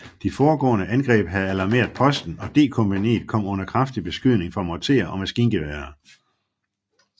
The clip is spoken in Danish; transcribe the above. De foregående angreb havde alarmeret posten og D kompagniet kom under kraftig beskydning fra morterer og maskingeværer